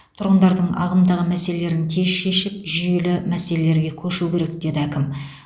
тұрғындардың ағымдағы мәселелерін тез шешіп жүйелі мәселелерге көшу керек деді әкім